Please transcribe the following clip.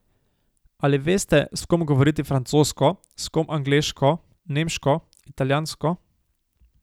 Ali veste, s kom govoriti francosko, s kom angleško, nemško, italijansko ...